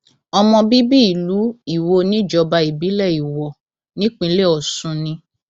ọmọ bíbí ìlú iwo níjọba ìbílẹ iwọ nípínlẹ ọsùn ni